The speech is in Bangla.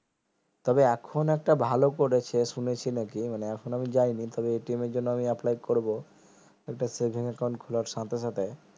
সেই তবে এখন একটা ভালো করেছে শুনেছি নাকি মানে এখন আমি যায়নি তবে এর জন্য আমি apply করবো একটা savings account খোলার সাথে সাথে